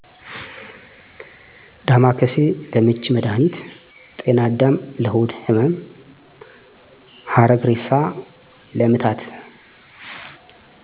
ዳማከሴ:- ለምች መድሀኒት ጤናዳም:- ለሆድ ህመም ሀረግእሬሳ:- ለምታት